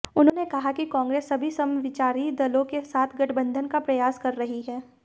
उन्होंने कहा कि कांग्रेस सभी समविचारी दलों के साथ गठबंधन का प्रयास कर रही है